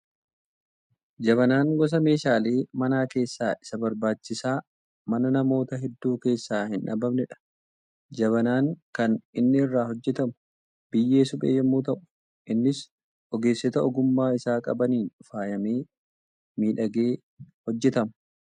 Jabanaan gosa meeshaalee manaa keessaa isa barbaachisaa mana namoota hedduu keessaa hin dhabamnedha. Jabanaan kan inni irraa hojjetamu, biyyee suphee yemmuu ta'u, innis ogeessota ogummaa isaa qabaniin faayamee, miidhagee hojjetama.